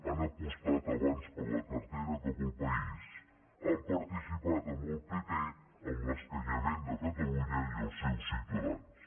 han apostat abans per la cartera que pel país han participat amb el pp en l’escanyament de catalunya i els seus ciutadans